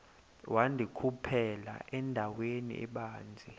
wandikhuphela endaweni ebanzi